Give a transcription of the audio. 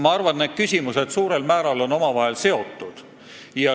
Ma arvan, et need küsimused on suurel määral omavahel seotud.